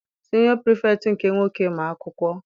Siniọ pirifektị nke nwoke ma akwụkwọ.